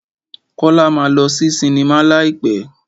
Kọ́lá máa lọ sí sinimá láì pẹ́.